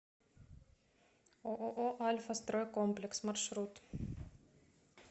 ооо альфастройкомплекс маршрут